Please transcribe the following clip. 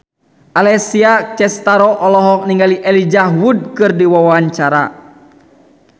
Alessia Cestaro olohok ningali Elijah Wood keur diwawancara